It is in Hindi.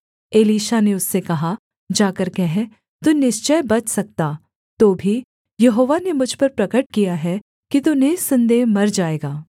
एलीशा ने उससे कहा जाकर कह तू निश्चय बच सकता तो भी यहोवा ने मुझ पर प्रगट किया है कि तू निःसन्देह मर जाएगा